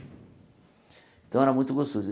Então, era muito gostoso.